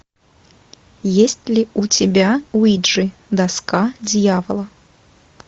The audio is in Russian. есть ли у тебя уиджи доска дьявола